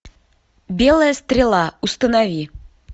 белая стрела установи